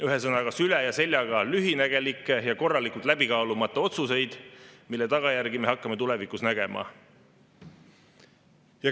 Ühesõnaga, süle ja seljaga lühinägelikke ja korralikult läbikaalumata otsuseid, mille tagajärgi me hakkame tulevikus nägema.